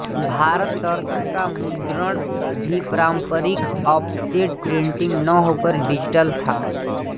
भारतदर्शन का मुद्रण भी पारंपरिकऑफसेट प्रिंटिंग न होकर डिजिटल था